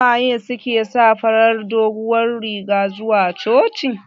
Suwaye suke sa farar doguwar riga zuwa coci?